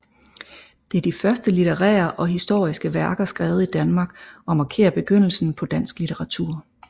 Det er de første litterære og historiske værker skrevet i Danmark og markerer begyndelsen på dansk litteratur